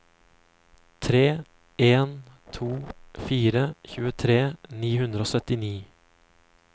tre en to fire tjuetre ni hundre og syttini